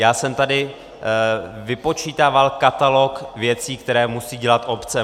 Já jsem tady vypočítával katalog věcí, které musí dělat obce.